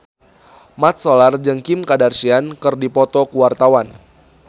Mat Solar jeung Kim Kardashian keur dipoto ku wartawan